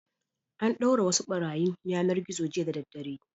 An ɗaure wasu ɓarayin yanar-gizo jiya da daddare.